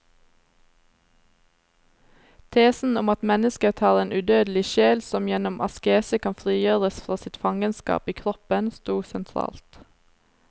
Tesen om at mennesket har en udødelig sjel som gjennom askese kan frigjøres fra sitt fangenskap i kroppen, stod sentralt.